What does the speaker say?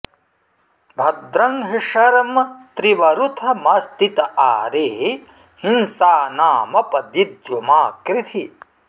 भद्रं हि शर्म त्रिवरूथमस्ति त आरे हिंसानामप दिद्युमा कृधि